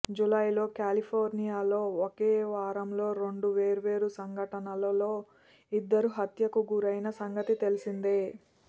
జూలైలో కాలిఫోర్నియాలో ఒకే వారం లో రెండు వేర్వేరు సంఘటనలలో ఇద్దరు హత్యకు గురైన సంగతి తెలిసిందే